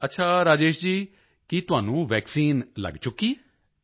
ਅੱਛਾ ਰਾਜੇਸ਼ ਜੀ ਕੀ ਤੁਹਾਨੂੰ ਵੈਕਸੀਨ ਲੱਗ ਚੁੱਕੀ ਹੈ